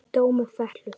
Dómur fellur